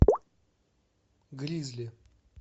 гризли